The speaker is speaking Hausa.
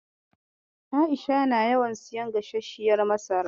A'isha na yawan siyan gasasshiyar masara.